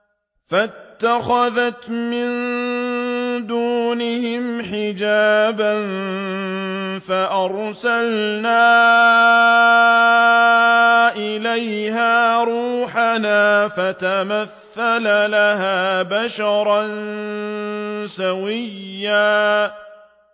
فَاتَّخَذَتْ مِن دُونِهِمْ حِجَابًا فَأَرْسَلْنَا إِلَيْهَا رُوحَنَا فَتَمَثَّلَ لَهَا بَشَرًا سَوِيًّا